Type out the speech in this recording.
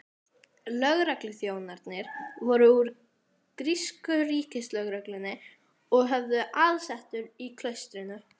Lögregluþjónarnir voru úr grísku ríkislögreglunni og höfðu aðsetur í klaustrinu.